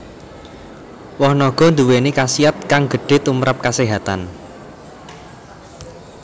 Woh naga nduwèni khasiat kang gedhe tumprap kaséhatan